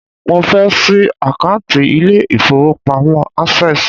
Mo fẹ́ ṣí àkántì ilé ìfọwọ́pamo Access.